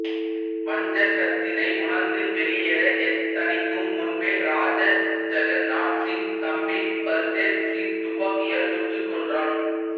வஞ்சகத்தினை உணர்ந்து வெளியேற எத்தணிக்கும் முன்பே ராஜா ஜகந்நாத் சிங் தம்பி பல்தேவ் சிங் துப்பாக்கியால் சுட்டு கொன்றான்